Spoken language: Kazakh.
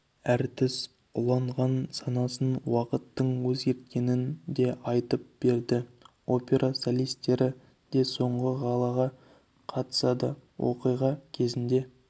әртіс уланған санасын уақыттың өзгерткенін де айтып берді опера солистері де соңғы галаға қатысады оқиға кезінде